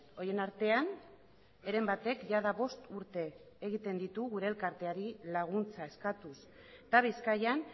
horien artean heren batek jada bost urte egiten ditu gure elkarteari laguntza eskatuz eta bizkaian